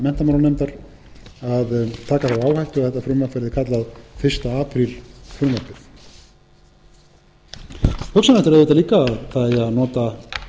þetta frumvarp verði kallað fyrsta apríl frumvarpið hugsanlegt er auðvitað líka að það eigi að nota